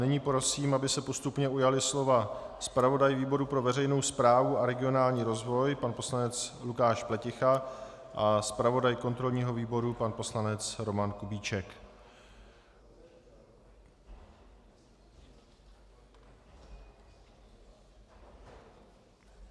Nyní prosím, aby se postupně ujali slova zpravodaj výboru pro veřejnou správu a regionální rozvoj pan poslanec Lukáš Pleticha a zpravodaj kontrolního výboru pan poslanec Roman Kubíček.